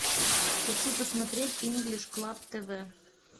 хочу посмотреть инглиш клаб тв